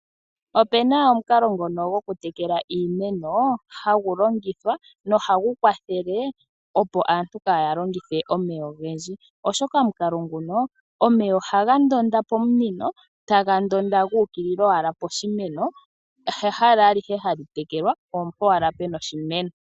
Opu na omukalo ngono gokutekela iimeno hagu longithwa nohagu kwathele, opo aantu kaya longithe omeya ogendji, oshoka omukalo nguka omeya ohaga ndonda pomunino taga ndonda gu ukilila owala poshimeno, ha hala alihe hali tekelwa oompo owala pu na oshimeno.